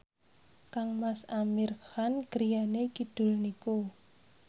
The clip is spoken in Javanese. kangmas Amir Khan griyane kidul niku